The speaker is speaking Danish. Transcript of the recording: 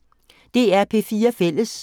DR P4 Fælles